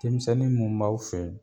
Denmisɛnni mun b'aw fɛ yen